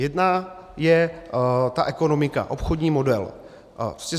Jedna je ta ekonomika, obchodní model.